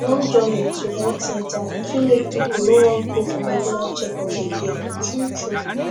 long journey to health center fit make people no wan go for regular checkup again truetrue